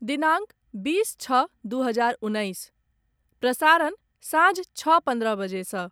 दिनांक बीस छओ दू हजार उन्नैस, प्रसारण सांझ छओ पन्द्रह बजे सँ